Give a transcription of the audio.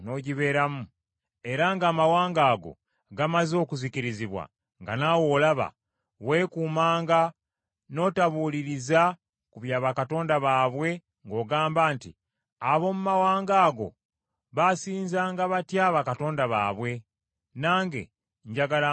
era ng’amawanga ago gamaze okuzikirizibwa nga naawe olaba, weekuumanga n’otabuuliriza ku bya bakatonda baabwe ng’ogamba nti, “Ab’omu mawanga ago baasinzanga batya bakatonda baabwe, nange njagala nkole bwe ntyo?”